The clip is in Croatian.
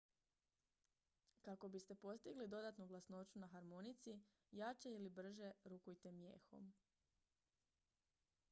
kako biste postigli dodatnu glasnoću na harmonici jače ili brže rukujte mijehom